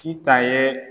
Sitan yee